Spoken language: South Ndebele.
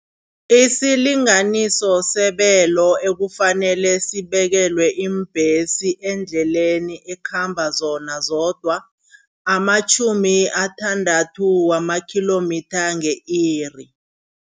Isilinganiso sebelo ekufanele sibekelwe iimbhesi eendleleni ekhamba zona zodwa amatjhumi asithandathu wama-kilometre nge-iri.